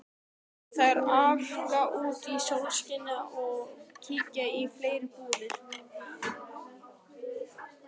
Þær arka út í sólskinið og kíkja í fleiri búðir.